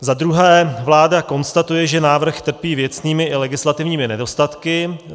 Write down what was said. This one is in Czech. Za druhé, vláda konstatuje, že návrh trpí věcnými i legislativními nedostatky.